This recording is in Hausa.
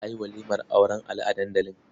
Za a yi walimar auren Ali a dandali.